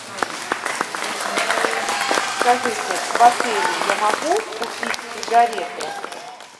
скажите в отеле я могу купить сигареты